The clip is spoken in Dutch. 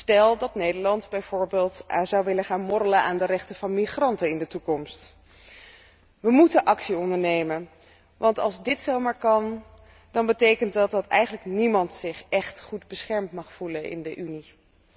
Stel dat Nederland bijvoorbeeld in de toekomst zou willen gaan morrelen aan de rechten van migranten. We moeten actie ondernemen, want als dit zomaar kan, dan betekent dat dat eigenlijk niemand zich echt goed beschermd mag voelen in de Unie.